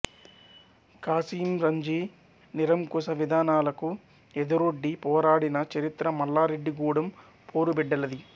ఖాసింరజ్వీ నిరంకుశ విధానాలకు ఎదురొడ్డి పోరాడిన చరిత్ర మల్లారెడ్డి గూడెం పోరుబిడ్డలది